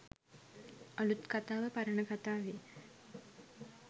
අළුත් කතාව පරණ කතාවේ